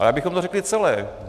Ale abychom to řekli celé.